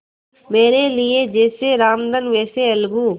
मेरे लिए जैसे रामधन वैसे अलगू